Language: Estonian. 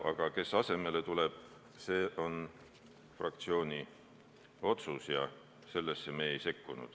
Aga kes asemele tuleb, see on fraktsiooni otsus ja sellesse me ei sekkunud.